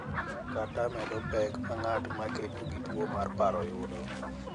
Kata medo pek ma ng’at ma kedo gi tuwo mar paro yudo.